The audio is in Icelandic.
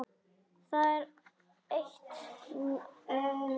Það er eitt, minn kæri.